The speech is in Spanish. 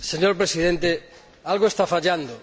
Señor Presidente, algo está fallando.